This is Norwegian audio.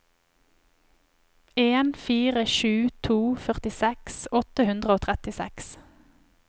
en fire sju to førtiseks åtte hundre og trettiseks